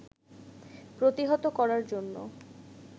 প্রতিহত করার জন্য